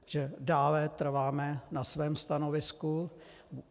Že dále trváme na svém stanovisku.